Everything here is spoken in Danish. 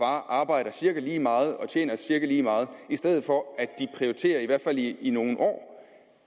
arbejder cirka lige meget og tjener cirka lige meget i stedet for at de prioriterer i hvert fald i nogle år